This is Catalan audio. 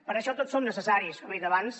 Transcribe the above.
per això tots som necessaris com he dit abans